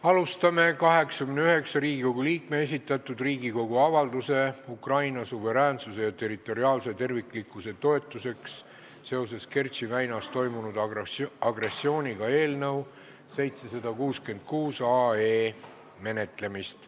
Alustame 89 Riigikogu liikme esitatud Riigikogu avalduse "Ukraina suveräänsuse ja territoriaalse terviklikkuse toetuseks seoses Kertši väinas toimunud agressiooniga" eelnõu 766 menetlemist.